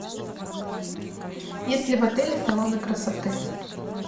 есть ли в отеле салоны красоты